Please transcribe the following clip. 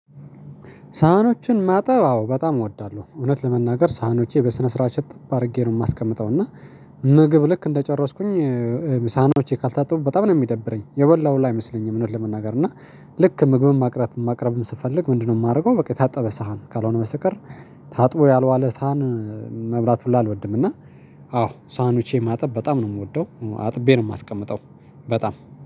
ሳህኖችን ማጠብ አዎ በጣም እወዳለሁ። እውነት ለመናገር ሳህኖቼ በስነ ስርዓት እጥብ አድርጌ ነው የማስቀምጠው እና ምግብ ልክ እንደጨረስኩኝ ሳህኖቼ ካልታጠቡ በጣም ነው የሚደብረኝ። የበላሁ ሁላ አይመስለኝም። እዉነት ለመናገር እና ልክ ምግብም ማቅረት ማቅረብም ስፈለግ ምንድነው የማደርገው? በቃ የታጠበ ሳህን ካልሆነ በስተቀር ታጥቦ ያልዋለ ሳህን መብላት ሁላ አልወድም። እና አዎ ሳህ ኖቸን ማጠብ በጣም ነው የምወደው አጥቤ ነው የማስቀምጠው። በጣም